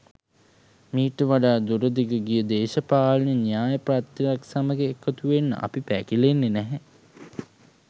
මීට වඩා දුරදිග ගිය දේශපාලන න්‍යායපත්‍රයක් සමග එකතුවෙන්න අපි පැකිලෙන්නේ නැහැ.